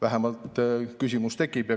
Vähemalt selline küsimus tekib.